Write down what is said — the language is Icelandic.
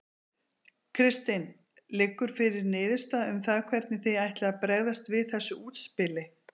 Kristinn: Liggur fyrir niðurstaða um það hvernig þið ætlið að bregðast við þessu útspili?